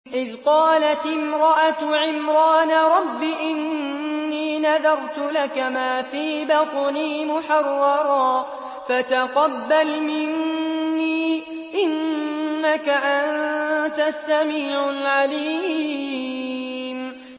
إِذْ قَالَتِ امْرَأَتُ عِمْرَانَ رَبِّ إِنِّي نَذَرْتُ لَكَ مَا فِي بَطْنِي مُحَرَّرًا فَتَقَبَّلْ مِنِّي ۖ إِنَّكَ أَنتَ السَّمِيعُ الْعَلِيمُ